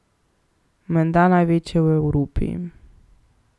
Menda največje v Evropi.